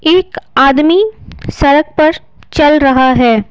एक आदमी सड़क पर चल रहा है।